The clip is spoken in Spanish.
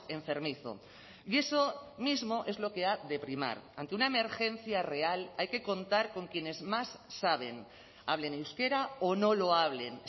enfermizo y eso mismo es lo que ha de primar ante una emergencia real hay que contar con quienes más saben hablen euskera o no lo hablen